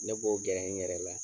Ne b'o gɛ n yɛrɛ la